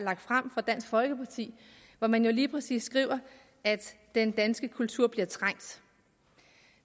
fremsat af dansk folkeparti hvor man lige præcis skriver at den danske kultur bliver trængt